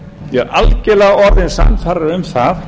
ég er algerlega orðinn sannfærður um það